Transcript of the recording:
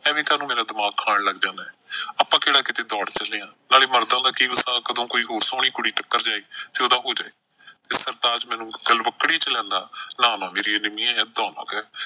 ਐਵੇਂ ਕਾਹਨੂੰ ਮੇਰਾ ਦਿਮਾਗ ਖਾਣ ਲੱਗ ਜਾਨੈ, ਆਪਾਂ ਕਿਹੜਾ ਕਿਤੇ ਦੌੜ ਚਲਿਆਂ। ਨਾਲੇ ਮਰਦਾਂ ਦਾ ਕਿ ਵਸਾਹ ਕਦੋਂ ਕੋਈ ਹੋਰ ਸੋਹਣੀ ਕੁੜੀ ਟੱਕਰ ਜਾਏ ਤੇ ਉਹਦਾ ਜਾਏ। ਤੇ ਸਰਤਾਜ ਮੈਨੂੰ ਗਲਵੱਕੜੀ ਚ ਲੈਂਦਾ, ਨਾ ਨਾ ਮੇਰੀ ਨਿੰਮੀਏ ਏਦਾਂ ਨਾ ਕਹਿ,